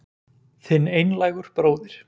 Þinn einlægur bróðir